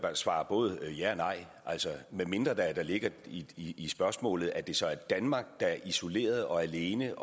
svare både ja og nej medmindre der ligger i spørgsmålet at det så er danmark der isoleret og alene